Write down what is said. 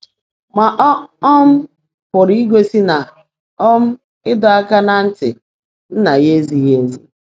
Mà ọ̀ um pụ́rụ́ ígósị́ ná um ị́dọ́ áká ná ntị́ Nnã yá ézíghị́ ézí?